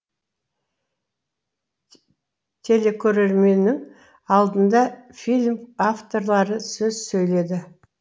телекөрерменнің алдында фильм авторлары сөз сөйледі